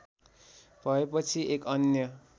भएपछि एक अन्य